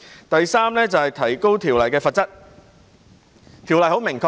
第三，是提高條例的罰則。